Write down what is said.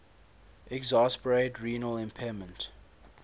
exacerbate renal impairment